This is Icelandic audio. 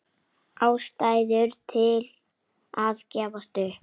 Ástæður til að gefast upp?